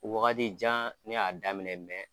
Wagati jan ne y'a daminɛ